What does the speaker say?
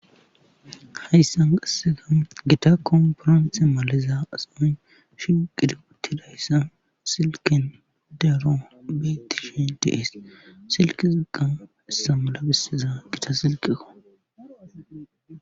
hayssan qassega gita komporomise maliza ason shi qidi uttidayssa silken dero betishi deees silki xilqan issa mala bisiza gita silqeko